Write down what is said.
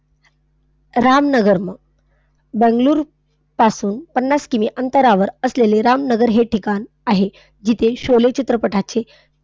रामनगर मग. बंगळूर पासून पन्नास किमी अंतरावर असलेले रामनगर हे ठिकाण आहे जिथे शोले चित्रपटाचे,